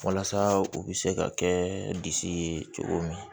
Walasa u bɛ se ka kɛ disi ye cogo min